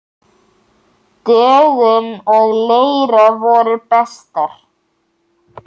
Dögun og Leira voru bestar.